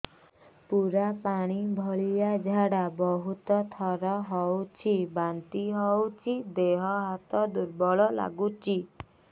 ପୁରା ପାଣି ଭଳିଆ ଝାଡା ବହୁତ ଥର ହଉଛି ବାନ୍ତି ହଉଚି ଦେହ ହାତ ଦୁର୍ବଳ ଲାଗୁଚି